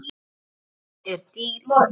Hún er dýr í dag.